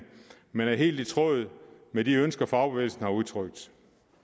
men er helt i tråd med de ønsker fagbevægelsen har udtrykt